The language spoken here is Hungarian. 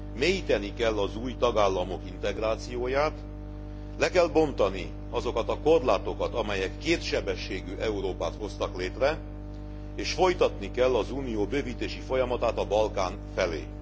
Mélyíteni kell az új tagállamok integrációját, le kell bontani azokat a korlátokat, amelyek kétsebességű Európát hoztak létre és folytatni kell az Unió bővítési folyamatát a Balkán felé.